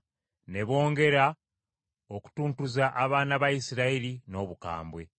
Ne bongera okutuntuza abaana ba Isirayiri n’obukambwe.